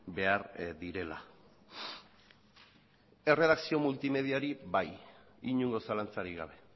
behar direla erredakzio multimediari bai inongo zalantzarik gabe